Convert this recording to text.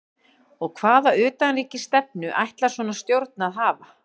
Og hvaða utanríkisstefnu ætlar svona stjórn að hafa?